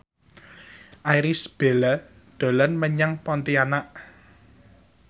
Irish Bella dolan menyang Pontianak